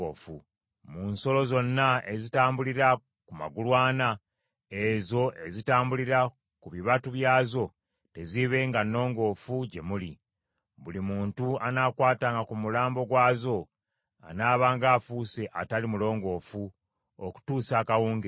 Mu nsolo zonna ezitambulira ku magulu ana, ezo ezitambulira ku bibatu byazo teziibenga nnongoofu gye muli, buli muntu anaakwatanga ku mulambo gwazo anaabanga afuuse atali mulongoofu okutuusa akawungeezi.